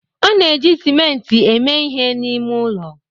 A na-eji simenti eme ihe n'ime ụlọ.